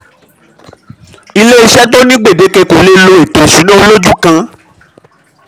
iléeṣẹ́ tó ní gbedeke kò lè lo ètò ìṣúná olójú kan.